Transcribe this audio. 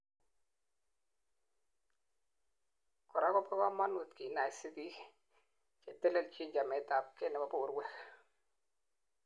korak kobo kamanut kinaisi biik chetelelchin chametabgei nebo borwek